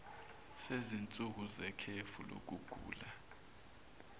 sezinsuku zekhefu lokugula